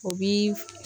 O bi